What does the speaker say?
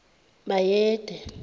bayede